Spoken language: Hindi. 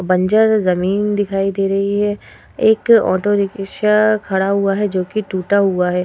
बंजर जमीन दिखाई दे रही है। एक ऑटो रिकिक्शा खड़ा हुआ है जोकि टूटा हुआ है।